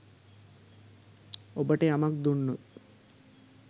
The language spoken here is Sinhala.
ඔබට යමක් දුන්නොත්